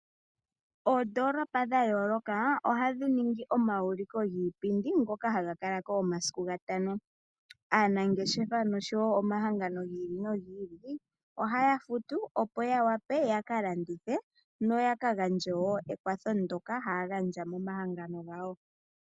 Oondoolopa dha yooloka ohadhi ningi omayuliko giipindi. Aanangeshefa nosho woo omahangano gi ili nogi ili oha ya futu opo ya wape yakalandithe noku gandja omakwatho ngoka haya gandja momahangano gawo.